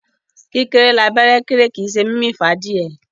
Kíkéré l'abẹ́rẹ́ kéré, kì í ṣe mímì fún adìyẹ.